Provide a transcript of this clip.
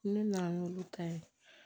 Ne nana n'olu ta ye